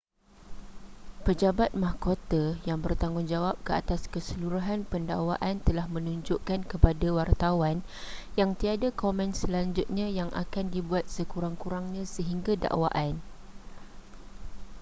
pejabat mahkota yang bertanggungjawab ke atas keseluruhan pendakwaan telah menunjukkan kepada wartawan yang tiada komen selanjutnya yang akan dibuat sekuarng-kurangnya sehingga dakwaan